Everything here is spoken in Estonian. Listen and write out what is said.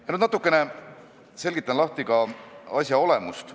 " Selgitan nüüd natukene asja olemust.